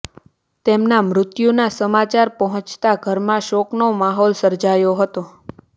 તેમના મૃત્યુના સમાચાર પોહચતા ઘરમાં શોકનો માહોલ સર્જાયો હતો